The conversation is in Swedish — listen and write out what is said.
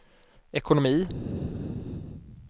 ekonomi